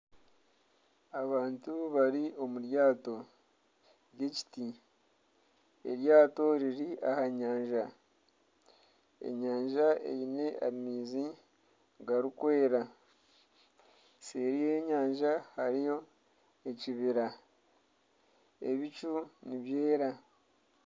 Abantu bari omu ryato ry'ekiti. Eryato riri aha nyanja. Enyanja eine amaizi garikwera. Seeri y'enyanja hariyo ekibira. Ebicu nibyera.